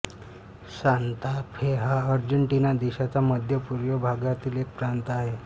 Santa Fe हा Argentina देशाच्या मध्यपूर्व भागातील एक प्रांत आहे